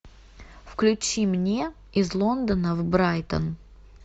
включи мне из лондона в брайтон